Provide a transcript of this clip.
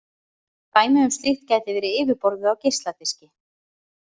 Dæmi um slíkt gæti verið yfirborðið á geisladiski.